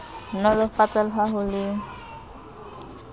nolofatsa le ha ho le